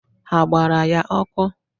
Ha gbara ya ọkụ?